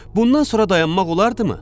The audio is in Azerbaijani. Bundan sonra dayanmaq olardımı?